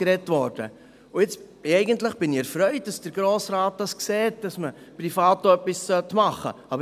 Jetzt bin ich eigentlich erfreut, dass der Grosse Rat sieht, dass man privat auch etwas machen sollte.